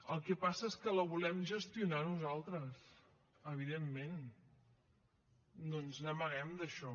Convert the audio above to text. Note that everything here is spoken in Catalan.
el que passa és que la volem gestionar nosaltres evidentment no ens n’amaguem d’això